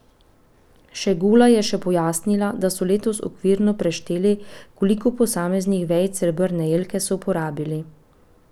Šegula je še pojasnila, da so letos okvirno prešteli, koliko posameznih vejic srebrne jelke so porabili.